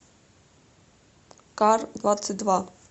кардвадцатьдва